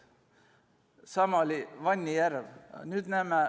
Sama oli Vani järvega.